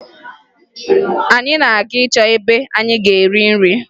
Anyị na-aga ịchọ ebe anyị ga-eri nri